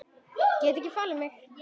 Get ekki falið mig.